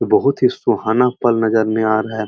बहोत ही सुहाना पल नजर आ रहा है।